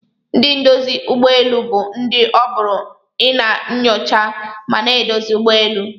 Ndi ndozi ugbọ elụ bu ndi oburu ina nyocha mana edozi ụgbọelụ.